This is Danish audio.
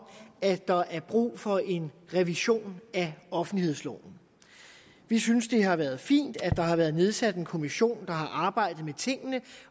at der er brug for en revision af offentlighedsloven vi synes det har været fint at der har været nedsat en kommission der har arbejdet med tingene